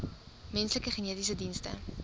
menslike genetiese dienste